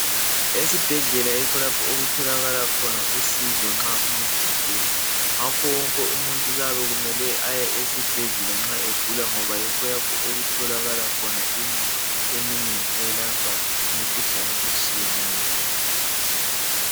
Esibhedlela yikho lapho okutholakala khona usizo nxa umuntu egula ngakho wonke umuntu kuyabe kumele aye ezibhedlela nxa egula ngoba yikho lapho okutholakala khona imithi eminengi eyelapha imikhuhlane etshiyeneyo